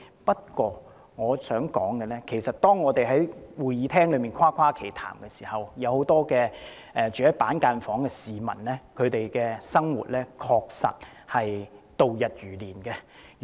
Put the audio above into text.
不過，我想指出的是，當我們在會議廳內誇誇其談的時候，很多居於板間房的市民確實度日如年。